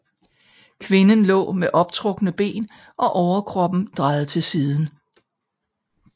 Kvinden lå med optrukne ben og overkroppen drejet til siden